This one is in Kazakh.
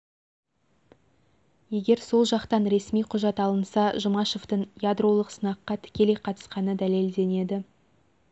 егер сол жақтан ресми құжат алынса жұмашевтің ядролық сынаққа тікелей қатысқаны дәлелденеді